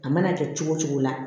A mana kɛ cogo cogo la